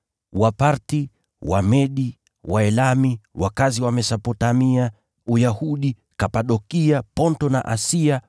Wapathi, Wamedi, Waelami, wakazi wa Mesopotamia, Uyahudi, Kapadokia, Ponto na Asia,